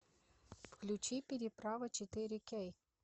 включи переправа четыре кей